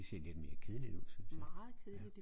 Det ser lidt mere kedeligt ud synes jeg